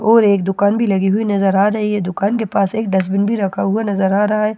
और एक दुकान भी लगी हुई नज़र आ रही है दुकान के पास एक डस्टबीन भी रखा हुआ नज़र आ रहा है